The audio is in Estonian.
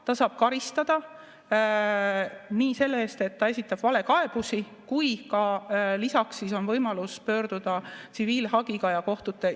Ta saab karistada nii selle eest, et ta esitab valekaebusi, kui ka lisaks on võimalus pöörduda tsiviilhagiga kohtusse.